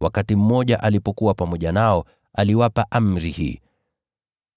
Wakati mmoja alipokuwa pamoja nao, aliwapa amri hii,